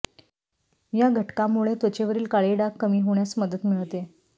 या घटकामुळे त्वचेवरील काळे डाग कमी होण्यास मदत मिळते